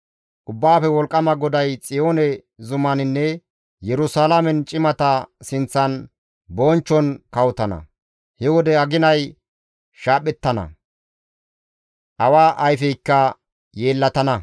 Ubbaafe Wolqqama GODAY Xiyoone zumaninne Yerusalaamen cimata sinththan bonchchon kawotana; he wode aginay shaaphettana; awa ayfeykka yeellatana.